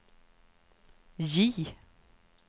J